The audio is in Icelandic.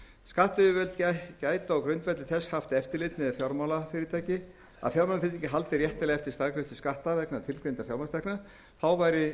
skattyfirvöld gætu á grundvelli þess haft eftirlit með að fjármálafyrirtæki haldi réttilega eftir staðgreiðslu skatta vegna tilgreindra fjármagnstekna þá væri